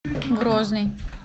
грозный